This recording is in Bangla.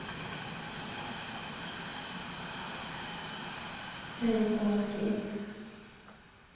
হ্যাঁ এরকম আর কি